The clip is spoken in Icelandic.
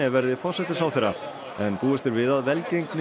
verði forsætisráðherra en búist er við að velgengni